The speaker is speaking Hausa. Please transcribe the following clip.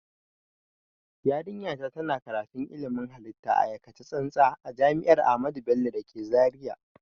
Yarinya ta na karatun ilmin halitta a aikace tsantsa a jami'ar ahamadu bello da ke zaria